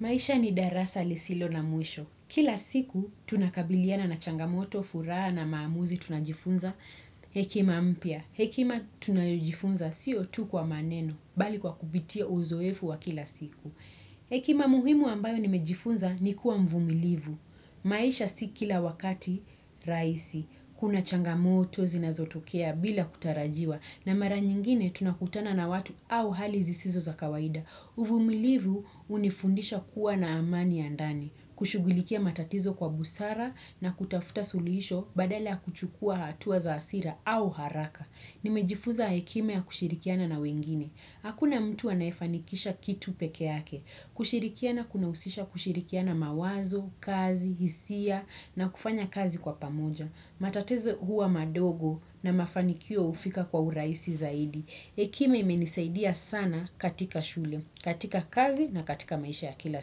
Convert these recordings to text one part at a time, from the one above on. Maisha ni darasa lisilo na mwisho. Kila siku tunakabiliana na changamoto, furaha na maamuzi tunajifunza hekima mpya. Hekima tunajifunza si otu kwa maneno bali kwa kupitia uzoefu wa kila siku. Hekima muhimu ambayo nimejifunza ni kuwa mvumilivu. Maisha si kila wakati raisi. Kuna changamoto zinazotokea bila kutarajiwa. Na mara nyingine tunakutana na watu au hali zisizo za kawaida. Uvumilivu unifundisha kuwa na amani ya ndani, kushugulikia matatizo kwa busara na kutafuta sulisho badala kuchukua hatuwa za asira au haraka. Nimejifuza hekima ya kushirikiana na wengine. Hakuna mtu anafanikisha kitu pekeake. Kushirikiana kuna usisha kushirikiana mawazo, kazi, hisia na kufanya kazi kwa pamoja. Matatezo huwa madogo na mafanikio ufika kwa uraisi zaidi. Hekima menisaidia sana katika shule, katika kazi na katika maisha ya kila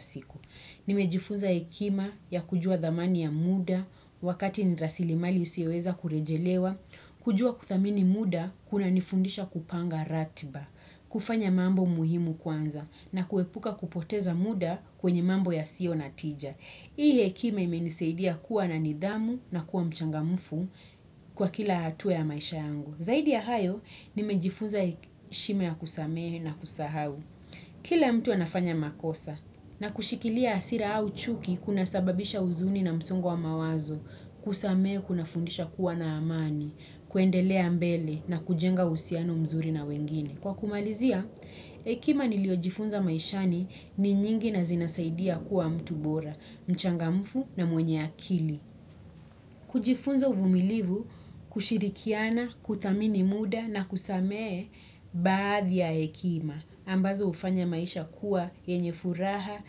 siku. Nimejifunza hekima ya kujua dhamani ya muda, wakati nirasilimali usiweza kurejelewa, kujua kuthamini muda, kuna nifundisha kupanga ratiba, kufanya mambo muhimu kwanza, na kuepuka kupoteza muda kwenye mambo ya sio natija. Hii hekima imenisaidia kuwa na nidhamu na kuwa mchangamufu kwa kila hatu ya maisha yangu. Zaidi ya hayo, nimejifunza shime ya kusamehe na kusahau. Kila mtu anafanya makosa na kushikilia asira au chuki kuna sababisha uzuni na msungo wa mawazo, kusamehe kuna fundisha kuwa na amani, kuendelea mbele na kujenga usiano mzuri na wengine. Kwa kumalizia, hekima niliojifunza maishani ni nyingi na zinasaidia kuwa mtu bora, mchangamfu na mwenye akili. Kujifunza uvumilivu, kushirikiana, kutamini muda na kusamee baadhi ya ekima. Ambazo ufanya maisha kuwa enye furaha,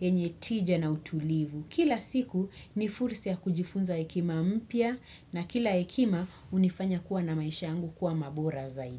enye tija na utulivu. Kila siku ni fursa ya kujifunza hekima mpia na kila hekima unifanya kuwa na maisha angu kuwa mabora zaidi.